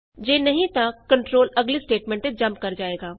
ਜੇ ਨਹੀਂ ਤਾਂ ਕੰਟਰੋਲ ਅਗਲੀ ਸਟੇਟਮੈਂਟ ਤੇ ਜੰਪ ਕਰ ਜਾਏਗਾ